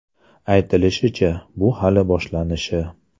Aytilishicha, bu hali boshlanishi.